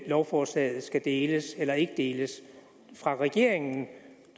lovforslaget skal deles eller ikke deles fra regeringen